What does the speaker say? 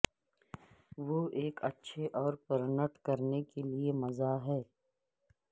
وہ ایک اچھے اور پرنٹ کرنے کے لئے مزہ ہے